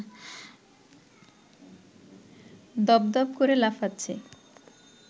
দপদপ করে লাফাচ্ছে